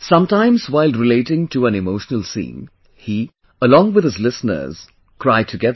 Sometimes while relating to an emotional scene, he, along with his listeners, cry together